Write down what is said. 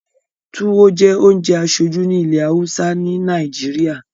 Tùwo jẹ́ ounjẹ aṣoju ni ìlẹ hausa ni Nàìjíríà